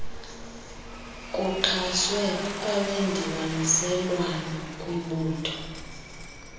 kuxhaswe abendibaniselwano kwibutho